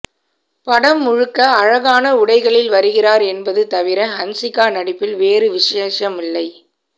படம் முழுக்க அழகான உடைகளில் வருகிறார் என்பது தவிர ஹன்சிகா நடிப்பில் வேறு விசேஷமில்லை